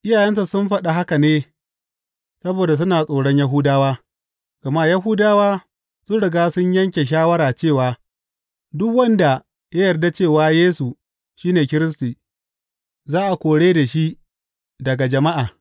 Iyayensa sun faɗa haka ne saboda suna tsoron Yahudawa, gama Yahudawa sun riga sun yanke shawara cewa duk wanda ya yarda cewa Yesu shi ne Kiristi, za a kore shi daga majami’a.